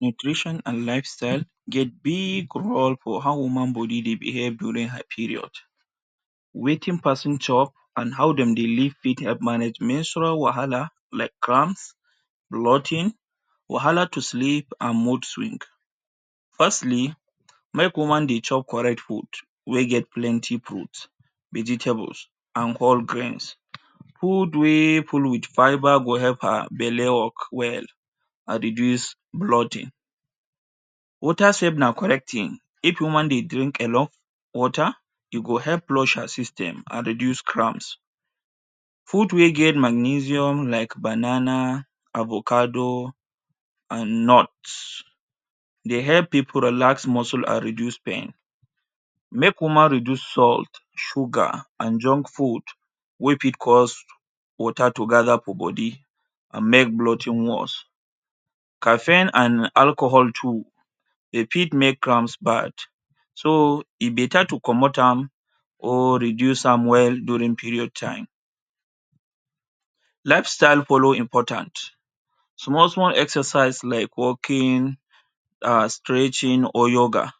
Nutrition an lifestyle get big role for how woman body dey behave during her period. Wetin peson chop an how dem dey live fit help manage menstrual wahala like cramps, bloating, wahala to sleep, an moodswing. Firstly, make woman dey chop correct food wey get plenty fruit, vegetables, an whole greens. Food wey full with fibre go help her belle work well, an reduce bloating. Water sef na correct tin. If woman dey drink enough water, e go help flush her system an reduce cramps. Fruit wey get magnesium like banana, avocado, an nuts dey help pipu relax muscle an reduce pain. Make woman reduce salt, sugar, an junk food wey fit cause water to gather for body, an make bloating worse. Caffeine an alcohol too, de fit make cramps bad. So, e beta to comot am or reduce am well during period time. Lifestyle follow important. Small-small exercise like walking, um stretching or yoga,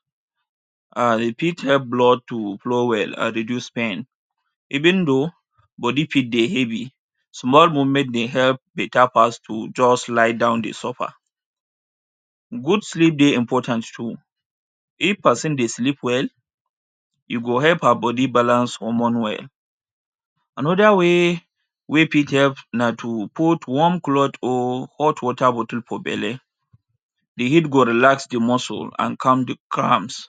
um e fit help blood to flow well an reduce pain. Even though body fit dey heavy, small movement dey help beta pass to juz lie down dey suffer. Good sleep dey important too. If peson sleep well, e go help her body balance hormone well. Another way wey fit help na to put warm cloth or hot water bottle for belle. The heat go relax the muscle an calm the cramps.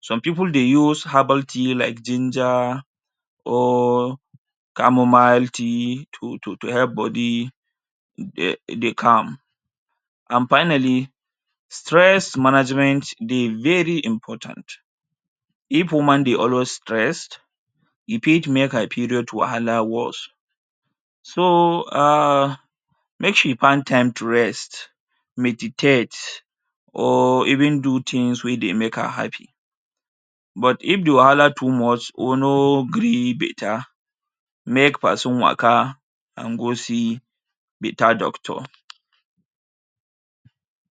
Some pipu dey use herbal tea like ginger or chamomile tea to to to help body um dey calm. An finally, stress management dey very important. If woman dey always stressed, e fit make her period wahala worse. So um make she find time to rest, meditate or even do tins wey dey make her happy. But if the wahala too much or no gree beta, make peson waka an go see beta doctor.